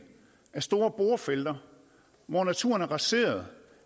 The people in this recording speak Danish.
af store borefelter hvor naturen er raseret